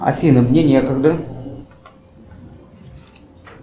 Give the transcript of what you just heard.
афина мне некогда